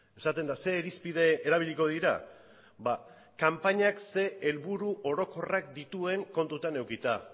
esaten da ze irizpide erabiliko dira ba kanpainak zer helburu orokorrak dituen kontutan edukita